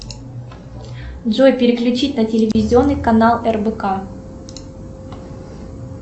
джой переключить на телевизионный канал рбк